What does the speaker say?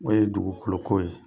N'o ye dugukolo ko ye.